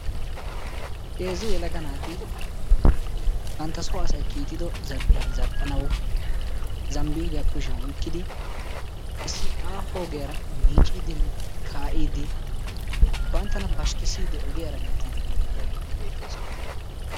Heezzu yelaga naati bantta so asay kiittido zal'iyaa zal'anawu Zambbiliya kushiyan oykkidi issi aaho ogiyaara miiccidinne kaa'ide banttana pashkkissiiddi ogiyaara hemettiide de'iyaageeti beettoosona.